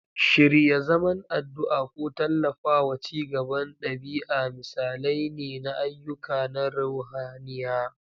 Shirya zaman addu'a ko tallafawa ci gaban ɗabi'a misalai ne na ayyuka na ruhaniya.